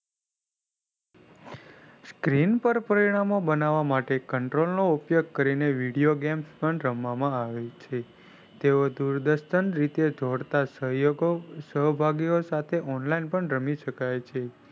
krain પર પરિણામ બનાવવા માટે control નો ઉપયોગ કરવામાં આવે છે તેઓ દૂરદર્શન રીતે જોડતા સહયોગો સહભાગીઓ સાથે online પણ રમી શકે છે.